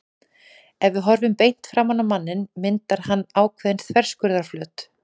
Ef við horfum beint framan á manninn myndar hann ákveðinn þverskurðarflöt.